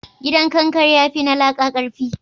Gidan kankare ya fi na laƙa karfi?